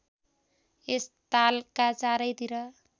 यस तालका चारैतिर